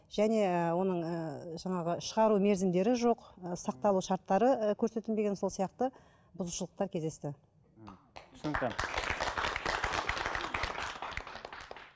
және ііі оның ііі жаңағы шығару мерзімдері жоқ і сақталу шарттары ы көрсетілмеген сол сияқты бұзушылықтар кездесті ммм түсінікті